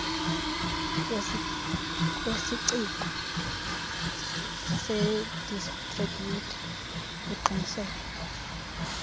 kwesiciko sedistribhiyutha uqiniseke